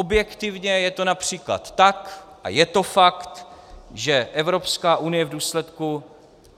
Objektivně je to například tak, a je to fakt, že Evropská unie v důsledku